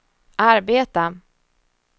arbeta